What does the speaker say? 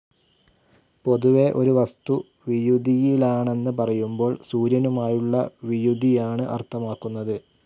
പൊതുവെ ഒരു വസ്തു വിയുതിയിലാണെന്ന് പറയുമ്പോൾ സൂര്യനുമായുള്ള വിയുതിയാണ്‌ അർത്ഥമാക്കുന്നത്.